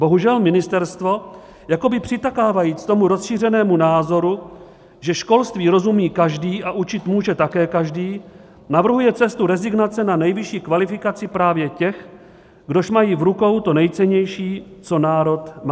Bohužel ministerstvo, jakoby přitakávajíc tomu rozšířenému názoru, že školství rozumí každý a učit může také každý, navrhuje cestu rezignace na nejvyšší kvalifikaci právě těch, kdož mají v rukou to nejcennější, co národ má.